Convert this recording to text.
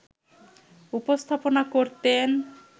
উপস্থাপনা করতেন